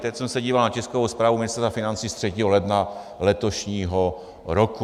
Teď jsem se díval na tiskovou zprávu Ministerstva financí z 3. ledna letošního roku.